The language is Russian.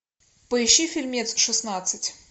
поищи фильмец шестнадцать